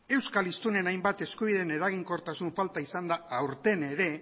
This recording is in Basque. euskal hiztunen hainbat eskubideen eraginkortasun falta izan da aurten ere